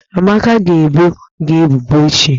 Amaka ga-ebo gi ebubo echi.